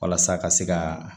Walasa ka se ka